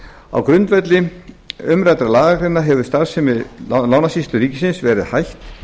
á grundvelli umræddrar lagagreinar hefur starfsemi lánasýslu ríkisins verið hætt